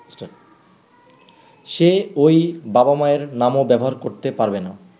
সে ঐ বাবা-মায়ের নামও ব্যবহার করতে পারবেনা।